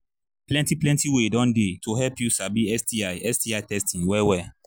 plenty plenty way don they to help you sabi sti sti testing well well